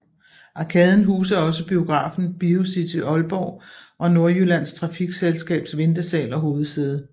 Arkaden huser også biografen Biocity Aalborg og Nordjyllands Trafikselskabs ventesal og hovedsæde